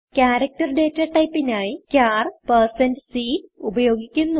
character data typeനായി char160c ഉപയോഗിക്കുന്നു